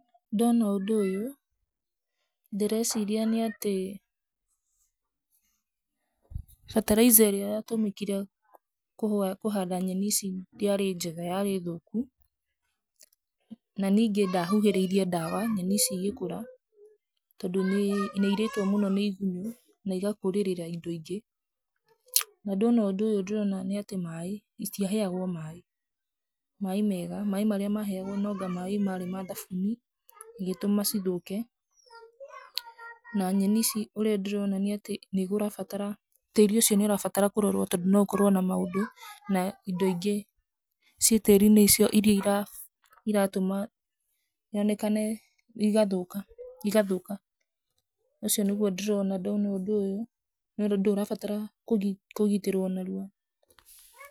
Ndoona ũndũ ũyũ ndĩ reciria nĩ atĩ bataraitha ĩrĩa yatũmĩkire kũhanda nyeni ici ndĩarĩ njega, yarĩ. Thũkũ na ningĩ, ndahuhĩrĩirie ndawa nyeni ici igĩkũra, tondũ nĩ irĩtwo mũno nĩ igunyũ na igakũrĩrĩra indo ingĩ. Na ndona ũndũ ũyũ ndĩrona nĩ atĩ maaĩ citiaheagũo maaĩ, maaĩ mega, maaĩ marĩa maheagũo nĩ anga maaĩ ma thabuni ĩgĩtũma ci thũke. Na nyeni ici ũrĩa ndĩrona nĩ atĩ nĩ kũrabatara tĩĩri ũcio nĩ ũrabatara kũrorũo, tondũ no ũkorũo na maũndũ na indo ingĩ ci tĩĩri-inĩ icio iria iratũma yonekane igathũka igathũka. Ũcio nĩguo ũndũ ndĩrona ndona ũndũ ũyũ, nĩ ũndũ ũndũ ũyũ ũrabatara kũgitĩrũo mũno.